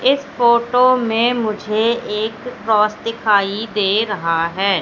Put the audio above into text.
इस फोटो में मुझे एक क्रॉस दिखाई दे रहा है।